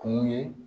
Kun ye